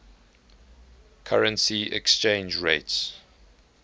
currency exchange rates